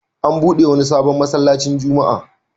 An buɗe wani sabon masallacin Juma'a.